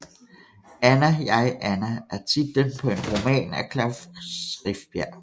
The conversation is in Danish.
Anna jeg Anna er titlen på en roman af Klaus Rifbjerg